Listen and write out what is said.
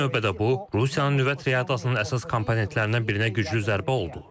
İlk növbədə bu, Rusiyanın nüvə triadasının əsas komponentlərindən birinə güclü zərbə oldu.